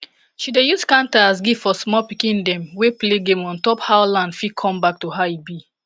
she dey use canta as gifts for sma pikin dem wey play game ontop how land fit com back to how e be